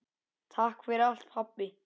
Takk fyrir allt pabbi.